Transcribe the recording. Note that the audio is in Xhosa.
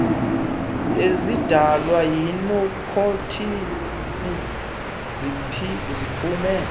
ezidalwa yinikhothini ziphume